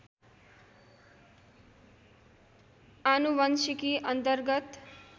आनुवंशिकी अन्तर्गत